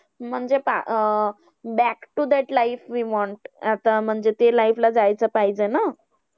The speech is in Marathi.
म्हणजे पहा um Back to that life we want. आता म्हणजे त्या life ला जायचं पाहिजे ना.